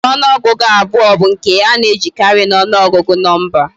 Usoro onuogugu abuo bu nke ana ejikari na ogugu nomba